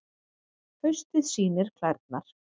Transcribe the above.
Haustið sýnir klærnar